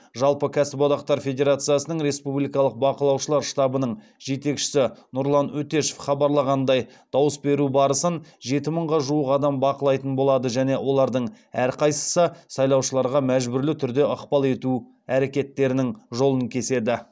жалпы кәсіподақтар федерациясының республикалық бақылаушылар штабының жетекшісі нұрлан өтешев хабарлағандай дауыс беру барысын жеті мыңға жуық адам бақылайтын болады және олардың әрқайсысы сайлаушыларға мәжбүрлі түрде ықпал ету әрекеттерінің жолын кеседі